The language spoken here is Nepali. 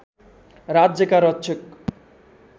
राज्यका रक्षक